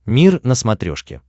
мир на смотрешке